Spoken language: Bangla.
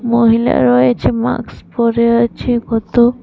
মহিলা রয়েছে মাক্স পড়ে আছে কত--